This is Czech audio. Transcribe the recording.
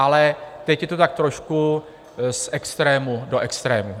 Ale teď je to tak trošku z extrému do extrému.